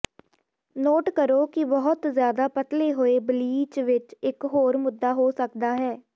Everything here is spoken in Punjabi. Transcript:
ਨੋਟ ਕਰੋ ਕਿ ਬਹੁਤ ਜ਼ਿਆਦਾ ਪਤਲੇ ਹੋਏ ਬਲੀਚ ਇਕ ਹੋਰ ਮੁੱਦਾ ਹੋ ਸਕਦਾ ਹੈ